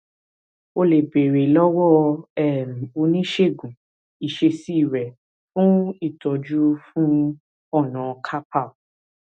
o lè béèrè lọwọ um oníṣègùn ìṣesí rẹ fún ìtọjú fún ọnà carpal